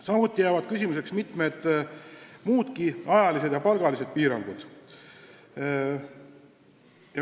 Samuti jäävad küsimuseks mitmed muudki ajalised ja palgalised piirangud.